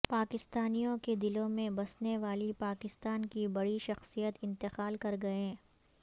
پاکستانیوں کے دلوں میں بسنے والی پاکستان کی بڑی شخصیت انتقال کر گئیں